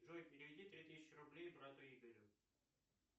джой переведи три тысячи рублей брату игорю